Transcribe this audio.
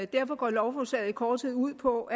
derfor går lovforslaget i korthed ud på